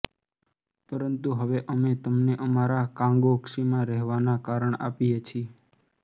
પરંતુ હવે અમે તમને અમારા કાગોક્ષીમાં રહેવાના કારણ આપીએ છીએ